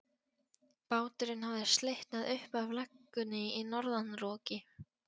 Báturinn hafði slitnað upp af legunni í norðanroki.